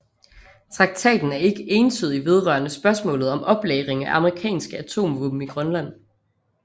Traktaten er ikke entydig vedrørende spørgsmålet om oplagring af amerikanske atomvåben i Grønland